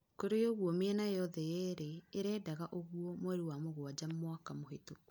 Kũrĩ ogũo mĩena yothe yerĩ ĩrendaga ouguo, mweri wa mugwanja mwaka mũhĩtũkũ